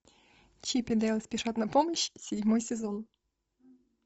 чип и дейл спешат на помощь седьмой сезон